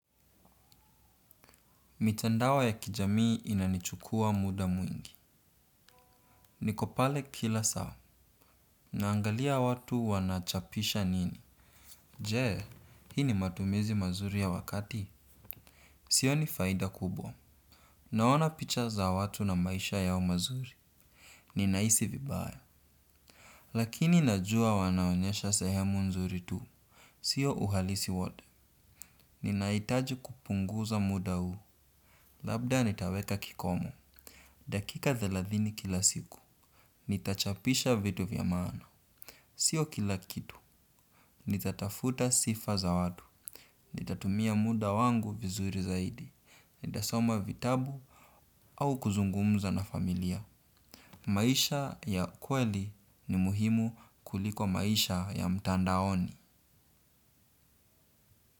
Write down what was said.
Mitandao ya kijamii inanichukua muda mwingi. Nikopale kila saa. Naangalia watu wanachapisha nini. Jee, hii ni matumizi mazuri ya wakati. Sio ni faida kubwa. Naona picha za watu na maisha yao mazuri. Ninahisi vibaya. Lakini najua wanaonyesha sehemu nzuri tu. Sio uhalisi wote. Ninaitaji kupunguza muda huu. Labda nitaweka kikomo. Dakika thelathini kila siku. Nitachapisha vitu vyamaana. Sio kila kitu. Nitatafuta sifa za watu. Nitatumia muda wangu vizuri zaidi. Nitasoma vitabu au kuzungumza na familia maisha ya kweli ni muhimu kuliko maisha ya mtandaoni.